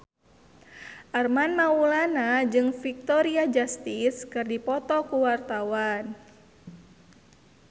Armand Maulana jeung Victoria Justice keur dipoto ku wartawan